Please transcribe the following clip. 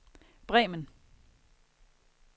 Bremen